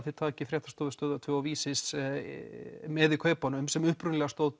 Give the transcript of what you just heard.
þið takið Fréttastofu Stöðvar tvö og Vísis með í kaupunum sem upphaflega stóð